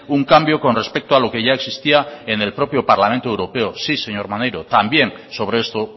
un cambio con respecto a lo que ya existía en el propio parlamento europeo sí señor maneiro también sobre esto